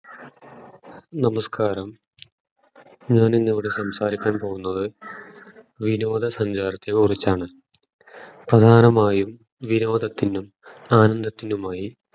നസ്കാരം ഞാൻ ഇന്ന് ഇവിടെ സംസാരിക്കാൻ പോകുന്നത് വിനോദ സഞ്ചാരത്തെ കുറിച്ചാണ് പ്രധാനമായും വിനോദത്തിനും ആനന്ദത്തിനുമായി